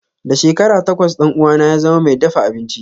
Da shekara takwas ɗan uwana ya zama mai dafa abinci.